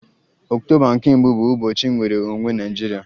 Ọktoba nke mbu bụ ụbọchị nnwere onwe Naịjirịa